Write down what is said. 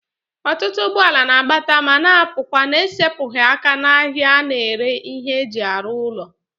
Otutu ugboala na-abata ma na-apukwa n'esepughi aka n'ahia a na-ere ihe eji aru ulo.